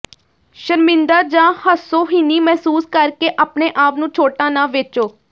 ਸ਼ਰਮਿੰਦਾ ਜਾਂ ਹਾਸੋਹੀਣੀ ਮਹਿਸੂਸ ਕਰਕੇ ਆਪਣੇ ਆਪ ਨੂੰ ਛੋਟਾ ਨਾ ਵੇਚੋ